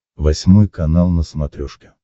восьмой канал на смотрешке